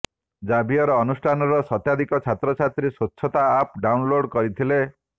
Xavier ଅନୁଷ୍ଠାନର ଶତାଧିକ ଛାତ୍ରଛାତ୍ରୀ ସ୍ୱଚ୍ଛତା ଆପ୍ ଡାଉନ୍ଲୋଡ୍ କରିଥିଲେ